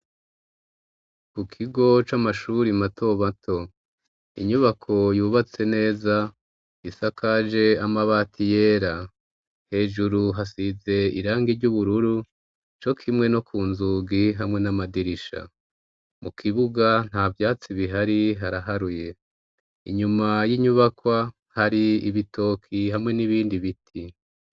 Ku kigo c'amashuri mato mato; inyubako yubatse neza, isakaje amabati yera. hejuru hasize irangi ry'ubururu co kimwe no ku nzugi hamwe n'amadirisha. Mu kibuga nta vyatsi bihari haraharuye. Inyuma y'inyubakwa hari ibitoki hamwe n'ibindi biti.